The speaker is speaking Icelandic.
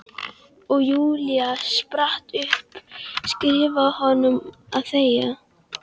Og Júlía spratt upp, skipaði honum að þegja.